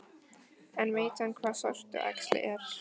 En veit hann hvað sortuæxli er?